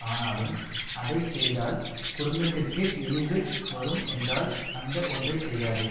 ஆனாலும் அதை செய்தால் குடும்பத்திற்கு இழிவு வரும் என்றால் அந்த ஒன்றை செய்யாதே